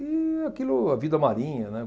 E aquilo, a vida marinha, né?